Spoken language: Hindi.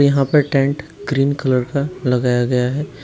यहां पर टेंट ग्रीन कलर का लगाया गया है।